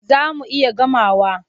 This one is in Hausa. Za mu iya gamawa.